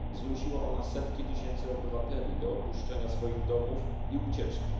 Zmusiła ona setki tysięcy obywateli do opuszczenia swoich domów i ucieczki.